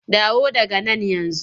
Dawo daga nan yanzu!